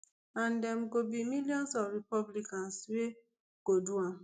and dem go be millions of republicans wey go do am